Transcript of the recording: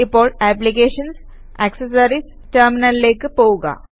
ഇപ്പോൾ applications GT accessories GT ടെര്മിനല്ലേക്ക് പോകുക